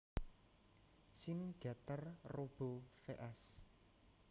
Shin Getter Robo vs